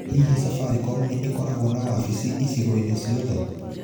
Hihi Safaricom nĩ ĩkoragwo na wabici icigo-inĩ ciothe?